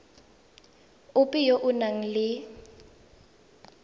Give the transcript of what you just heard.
ope yo o nang le